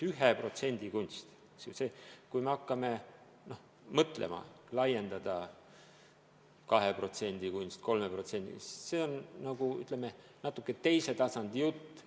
1% kunstile, kui me hakkame mõtlema, laiendada, et 2% kunstile, 3% – see on natuke teise tasandi jutt.